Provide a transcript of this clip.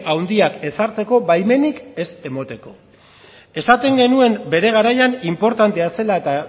handiak ezartzeko baimenik ez emateko esaten genuen bere garaian inportantea zela eta